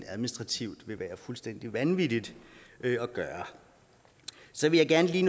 administrativt fuldstændig vanvittigt at gøre så vil jeg gerne lige